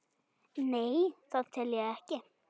Nei, það tel ég ekki.